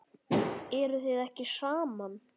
Eruð þið ekki saman?